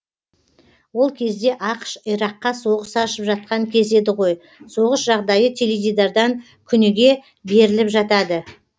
ол кезде ақш ираққа соғыс ашып жатқан кез еді ғой соғыс жағдайы теледидардан күніге беріліп жатады